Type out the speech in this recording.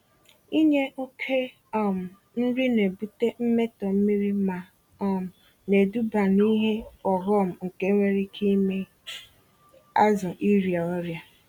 Inye oke um nri na-ebute mmetọ mmiri ma um neduba n'ihe ọghọm nke nwere ike ime azụ ịrịa ọrịa.